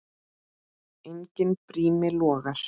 Enginn brími logar.